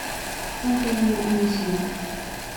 антонина анисимова